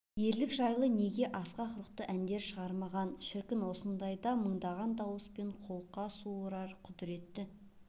ерлік жайлы неге асқақ рухты әндер шығармаған шіркін осындайда мыңдаған дауыспен қолқа суырар құдіретті